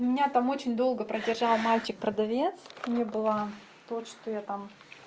меня там очень долго продержал мальчик продавец не было то что я там